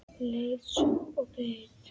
Leið svo og beið.